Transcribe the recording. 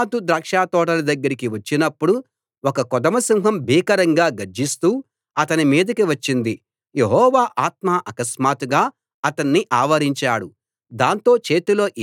తరువాత సంసోను తన తల్లిదండ్రులతో కలసి తిమ్నాతుకు వెళ్ళాడు తిమ్నాతు ద్రాక్ష తోటల దగ్గరికి వచ్చినప్పుడు ఒక కొదమ సింహం భీకరంగా గర్జిస్తూ అతని మీదికి వచ్చింది